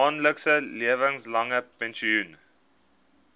maandelikse lewenslange pensioen